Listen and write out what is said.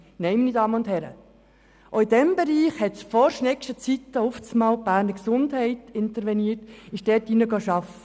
Nein, meine Damen und Herren, auch in diesem Bereich intervenierte in «Vor-Schneggschen» Zeiten auf einmal die Beges und bot ihre Leistungen dort an.